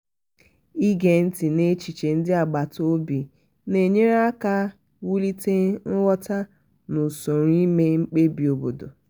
ige ntị n'echiche ndị agbata obi na-enyere aka wulite nghọta na usoro ime mkpebi obodo.